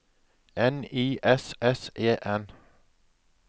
N I S S E N